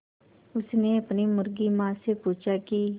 उसने अपनी मुर्गी माँ से पूछा की